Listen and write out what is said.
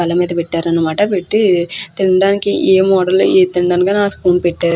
బల్ల మీద పెట్టారు అనమాట పెట్టి తినటానికి ఏం ఏ తినడానికి ఆ స్పూన్ పెట్టారు.